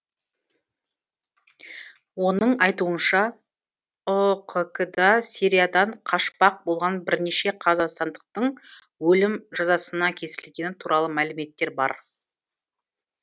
оның айтуынша ұқк да сириядан қашпақ болған бірнеше қазақстандықтың өлім жазасына кесілгені туралы мәліметтер бар